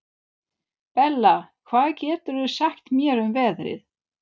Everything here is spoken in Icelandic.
Bella, hvað geturðu sagt mér um veðrið?